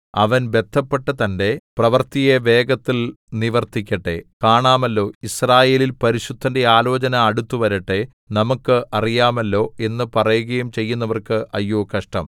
അവൻ ബദ്ധപ്പെട്ടു തന്റെ പ്രവൃത്തിയെ വേഗത്തിൽ നിവർത്തിക്കട്ടെ കാണാമല്ലോ യിസ്രായേലിൻ പരിശുദ്ധന്റെ ആലോചന അടുത്തുവരട്ടെ നമുക്ക് അറിയാമല്ലോ എന്നു പറയുകയും ചെയ്യുന്നവർക്ക് അയ്യോ കഷ്ടം